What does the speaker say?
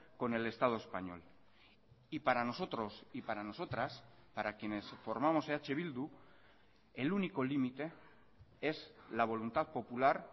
con el estado español y para nosotros y para nosotras para quienes formamos eh bildu el único límite es la voluntad popular